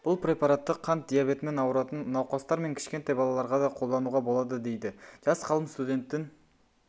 бұл препаратты қант диабетімен ауыратын науқастар мен кішкентай балаларға да қолдануға болады дейді жас ғалым студенттің